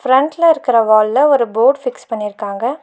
ஃபிரண்ட்ல இருக்கிற வால்ல ஒரு போர்டு ஃபிக்ஸ் பண்ணிருக்காங்க.